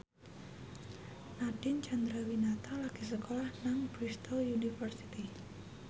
Nadine Chandrawinata lagi sekolah nang Bristol university